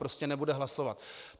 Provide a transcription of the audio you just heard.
Prostě nebude hlasovat.